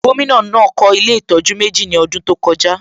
Gómìnà náà kọ́ ilé ìtọ́jú méjì ní ọdún tó kọjá